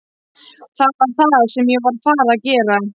Það er það sem ég er að fara að gera!